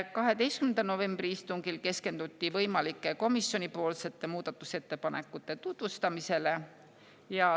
12. novembri istungil keskenduti võimalike komisjonipoolsete muudatusettepanekute tutvustamisele.